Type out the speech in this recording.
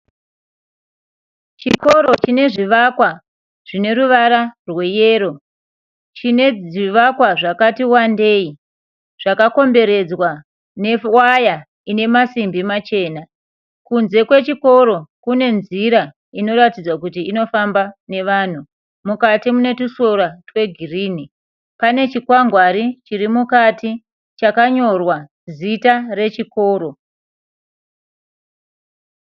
Chikoro chine zvivakwa zvine ruvara rweyero. Chine zvivakwa zvakati wandei zvakakomberedzwa newaya ine masimbi machena. Kunze kwechikoro kune nzira inoratidza kuti inofamba nevanhu. Mukati mune tusora twegirinhi. Pane chikwangwari chiri mukati chakanyorwa zita rechikoro.